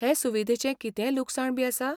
हे सुविधेचें कितेंय लुकसाण बी आसा?